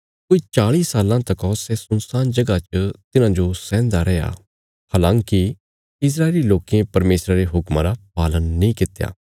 कोई चाल़ी साल्लां तका सै सुनसान जगह च तिन्हांजो सैंहदा रैया हलाँकि इस्राएली लोकें परमेशरा रे हुक्मा रा पालन नीं कित्या